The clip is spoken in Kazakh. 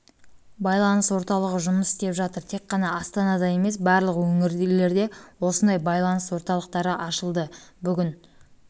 байланыс орталығы жұмыс істеп жатыр тек қана астанада емес барлық өңірлерде осындай байланыс орталықтары ашылды бүгін